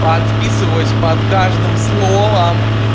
подписываюсь под каждым словом